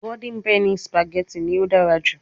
Golden penny spaghetti ni o dara ju